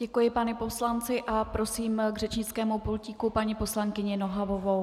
Děkuji panu poslanci a prosím k řečnickému pultíku paní poslankyni Nohavovou.